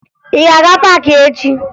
Ị ga-aga paakị echi?